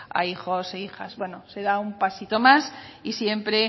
a hijos e hijas bueno se da un pasito más y siempre